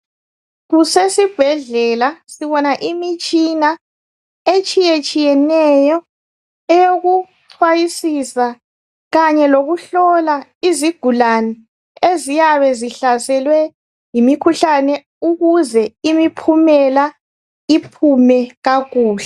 Kusesibhedlela sibona imitshina etshiyetshiyeneyo eyokucwayisisa kanye lokuhlola izigulane eziyabe zihlaselwe yimikhuhlane ukuze imiphumela iphume kakuhle.